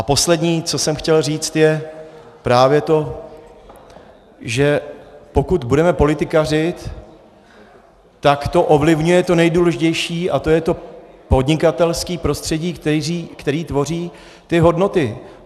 A poslední, co jsem chtěl říct, je právě to, že pokud budeme politikařit, tak to ovlivňuje to nejdůležitější, a to je to podnikatelské prostředí, které tvoří ty hodnoty.